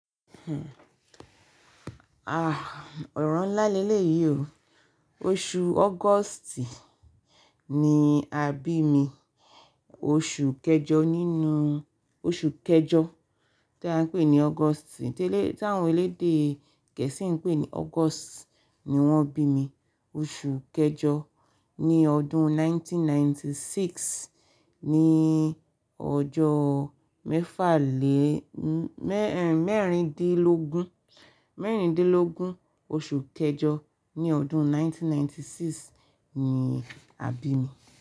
Ah, ọ̀ràn ńlá lẹ́lẹ́ yìí o. Oṣù August ni a bi mi. Oṣù kẹjọ nínú, oṣù kẹjọ tí a ń pè ní August, tí elé-- tí àwọn elédè Gẹ̀ẹ́sì ń pè ní August ni wọ́n bi mi. Oṣù kẹjọ ní ọdún ẹgbẹ̀rún kan ó lé ọgọ́rùn-ún mẹ́sàn-án ó lé mẹ́rìndínlọ́gọ́rùn-ún, ní ọjọ́ mẹ́fàlé-- mẹ́rin, mẹ́rindínlógún, mẹ́rindínlógún oṣù kẹjọ ní ọdún ẹgbẹ̀rún kan ó lé ọgọ́rùn-ún mẹ́sàn-án ó lé mẹ́rìndínlọ́gọ́rùn-ún ni a bi mi.